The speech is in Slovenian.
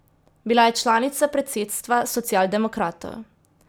Bila je članica predsedstva socialdemokratov.